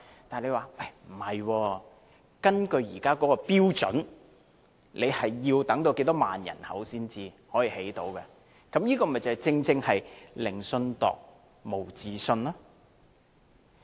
但是，政府表示，根據現行標準，要人口達到一定數量才能興建有關設施，這正是"寧信度，無自信也"。